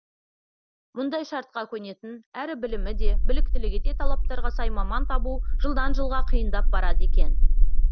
мұндай шартқа көнетін әрі білімі де біліктілігі де талаптарға сай маман табу жылдан жылға қиындап барады екен